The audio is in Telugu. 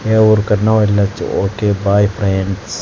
ఏ ఊరికి అన్న వెళ్ళొచు ఒకే బాయ్ ఫ్రెండ్స్ .